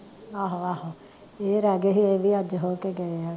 ਆਹੋ ਆਹੋ, ਏ ਰਹਿ ਗਏ ਹੀ, ਏ ਵੀ ਅੱਜ ਹੋਕੇ ਗਏ ਆ ਗੇ